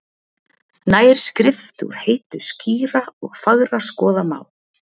Nær skrift úr heitu skýra og fagra skoða má,